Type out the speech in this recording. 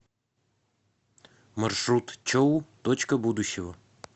маршрут чоу точка будущего